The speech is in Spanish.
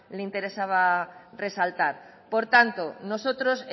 le interesaba resaltar por tanto nosotros